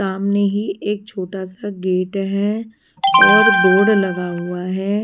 सामने ही एक छोटा सा गेट है और बोर्ड लगा हुआ है।